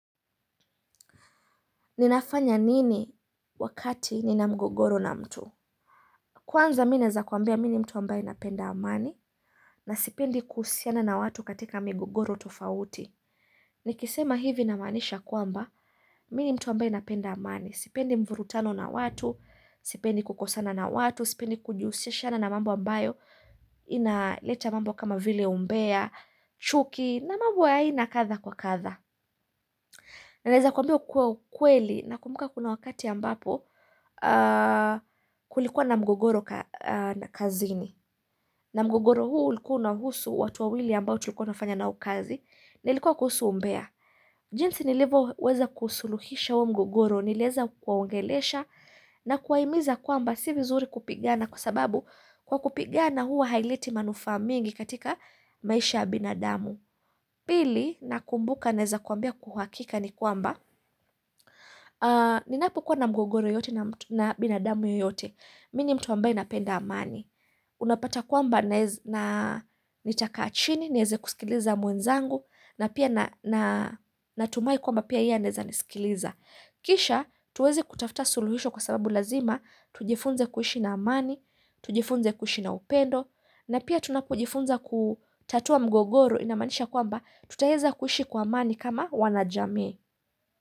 Ninafanya nini wakati nina mgogoro na mtu Kwanza mineza kuambia mini mtu ambaye napenda amani na sipendi kusiana na watu katika migogoro tofauti Nikisema hivi namanisha kuamba mini mtu ambaye napenda amani Sipendi mvuru tano na watu Sipendi kukosana na watu Sipendi kujusishiana na mambu ambayo Inaleta mambo kama vile umbea chuki na mambu wa haina katha kwa katha Naleza kuambia kuwe kweli nakumbuka kuna wakati ambapo kulikuwa na mgogoro na kazini. Na mgogoro huu ulikuwa na husu watuawili ambao tulikuwa nafanya na ukazi na ilikuwa kuhusu umbea. Jinsi nilivo weza kuhusuluhisha huwo mgogoro nileza kwaongelesha na kwaimiza kwamba si vizuri kupigana kwa sababu kwa kupigana huu hailiti manufaa mingi katika maisha ya binadamu. Pili nakumbuka naheza kuambia kuhakika ni kwamba ninapo kuwa na mgogoro yoyote na binadamu yoyote Mini mtu wambaye inapenda amani. Unapata kwamba nitaka achini, nieze kusikiliza mwenzangu, na pia natumai kwamba pia yeye aneze nisikiliza. Kisha tuwezi kutafta suluhisho kwa sababu lazima, tujifunze kuhishi na amani, tujifunze kuhishi na upendo, na pia tunapujifunza kutatua mgogoro inamanisha kwamba tutaheza kuhishi kwa amani kama wanajame.